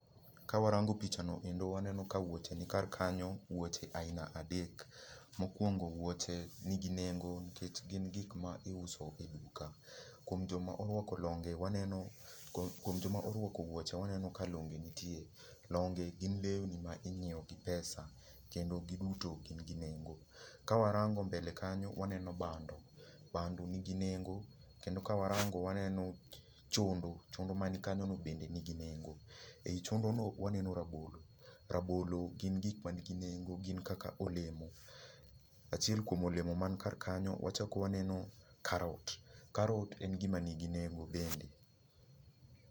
Ka warango picha no kendo waneno ka wuoche ni kar kanyo, wuoche aina adek. Mokuongo wuoche nigi nengo nikech gin gik ma iuso e duka. Kuom jo ma orwako longe waneno, kuom jo ma orwako wuoche waneno ka longe nitie. Longe gin lewni ma inyiewo gi pesa, kendo gi duto gn gii nengo. Ka warango mbele kanyo waneno bando, bando nigi nengo. Kendo ka warango waneno chondo, chondo man kanyo no bende nigi nengo. Ei chondo no waneno rabolo, rabolo gin gik ma nigi nengo, gin kaka olemo. Achiel kuom olemo man kar kanyo, wachak maneno karot. Karot en gima nigi nengo bende.